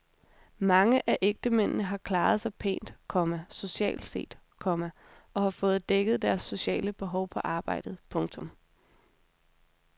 Mange af ægtemændene har klaret sig pænt, komma socialt set, komma og har fået dækket deres sociale behov på arbejdet. punktum